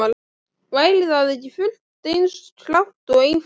Væri það ekki fullt eins klárt og einfalt?